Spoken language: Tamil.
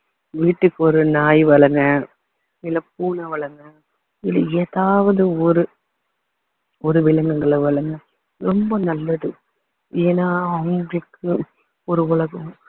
வீட்டுக்கு ஒரு நாய் வளருங்க இல்ல பூனை வளருங்க இல்ல ஏதாவது ஒரு ஒரு விலங்குகளை வளருங்க ரொம்ப நல்லது ஏன்னா அவங்களுக்கு ஒரு உலகம்